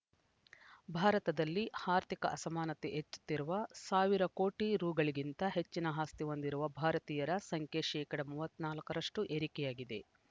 ಭಾರತದಲ್ಲಿ ಆರ್ಥಿಕ ಅಸಮಾನತೆ ಹೆಚ್ಚುತ್ತಿರುವ ಸಾವಿರ ಕೋಟಿ ರುಗಳಿಗಿಂತ ಹೆಚ್ಚಿನ ಆಸ್ತಿ ಹೊಂದಿರುವ ಭಾರತೀಯರ ಸಂಖ್ಯೆ ಶೇಕಡಾ ಮೂವತ್ತ್ ನಾಲ್ಕರಷ್ಟುಏರಿಕೆಯಾಗಿದೆ